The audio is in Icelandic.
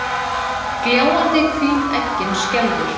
Gljáandi hvít eggin skelfur.